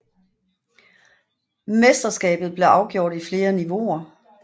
Mesterskabet blev afgjort i flere niveauer